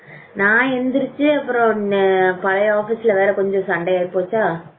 நான் எந்திரிச்சு அப்புறம் பழைய office ல வேற கொஞ்சம் சண்டையாகி போச்சா